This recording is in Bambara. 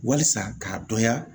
Wasa k'a dɔnya